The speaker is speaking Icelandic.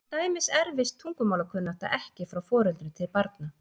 Til dæmis erfist tungumálakunnátta ekki frá foreldrum til barna.